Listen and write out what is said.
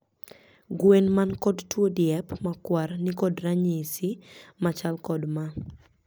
Gwen man kod tuo diep makwar ni kod ranyisi machal kod ma.